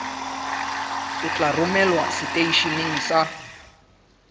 o tla romelwa seteisheneng sa